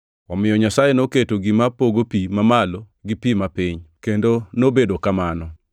Omiyo Nyasaye noketo gima pogo pi mamalo gi pi ma piny. Kendo nobedo kamano.